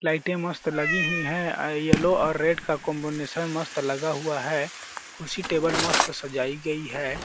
लाइटे मस्त लगी हुई है अ यल्लो और रेड का कॉम्बिनेशन मस्त लगा हुआ है खुर्शी टेबल मस्त सजाई गई है।